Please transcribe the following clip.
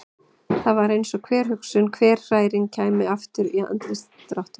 Það var eins og hver hugsun, hver hræring kæmi fram í andlitsdráttunum.